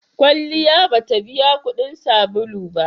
Kwalliya ba ta biya kuɗin sabulu ba.